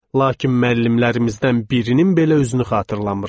Lakin müəllimlərimizdən birinin belə özünü xatırlamıram.